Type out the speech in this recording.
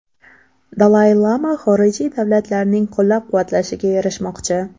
Dalay lama xorijiy davlatlarning qo‘llab-quvvatlashiga erishmoqchi.